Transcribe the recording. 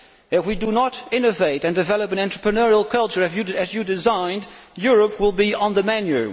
If we do not innovate and develop an entrepreneurial culture as you designed, Europe will be on the menu.